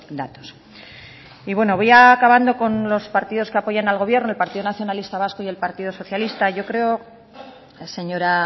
datos y bueno voy acabando con los partidos que apoyan al gobierno el partido nacionalista vasco y el partido socialista yo creo señora